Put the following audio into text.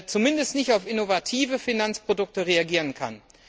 kaum, zumindest nicht auf innovative Finanzprodukte reagieren kann.